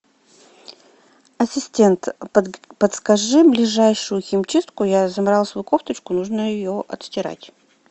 ассистент подскажи ближайшую химчистку я замарала свою кофточку нужно ее отстирать